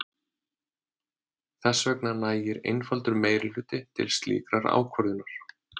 Þess vegna nægir einfaldur meirihluti til slíkrar ákvörðunar.